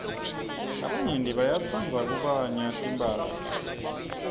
labanyenti bayatsrdza kubanya timphahla